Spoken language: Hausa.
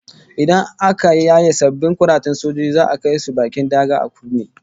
Idan aka yaye sabbin kuratan sojojin za'a kai su bakin daga a Ukraine